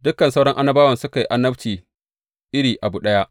Dukan sauran annabawan suka yi annabci iri abu ɗaya.